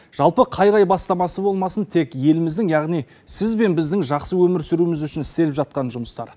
жалпы қай қай бастамасы болмасын тек еліміздің яғни сіз бен біздің жақсы өмір сүруіміз үшін істеліп жатқан жұмыстар